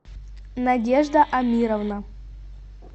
надежда амировна